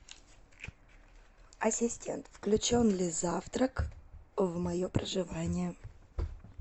ассистент включен ли завтрак в мое проживание